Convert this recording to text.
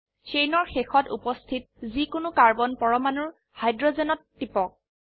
চেইনৰ শেষত উপস্থিত যি কোনো কাৰ্বন পৰমাণুৰ হাইড্ৰোজেনত টিপক